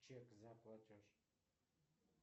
чек за платеж